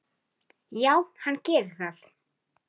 Já, hann gerir það